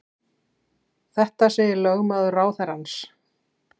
Þetta segir lögmaður ráðherrans